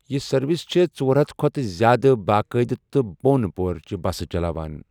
یہِ سروس چھےٚ ژۄر ہتھَ کھۅتہٕ زیادٕ باقاعدٕ تہٕ بۅن پورچہِ بسہٕ چلاوان۔